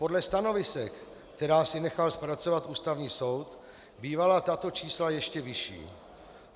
Podle stanovisek, která si nechal zpracovat Ústavní soud, bývala tato čísla ještě vyšší.